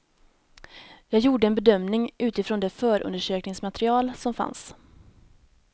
Jag gjorde en bedömning utifrån det förundersökningsmaterial som fanns.